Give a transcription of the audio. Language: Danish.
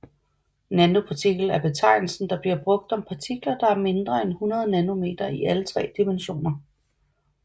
Nanopartikel er betegnelsen der bliver brugt om partikler der er mindre end 100 nanometer i alle 3 dimensioner